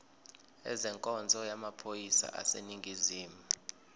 ezenkonzo yamaphoyisa aseningizimu